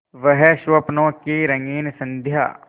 वह स्वप्नों की रंगीन संध्या